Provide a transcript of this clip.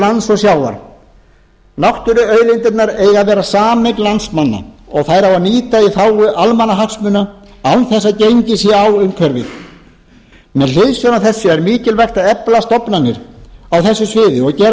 lands og sjávar náttúruauðlindirnar eiga að vera sameign landsmanna og þær á að nýta í þágu almannahagsmuna án þess að gengið sé á umhverfið með hliðsjón af þessu er mikilvægt að efla stofnanir á þessu sviði og gera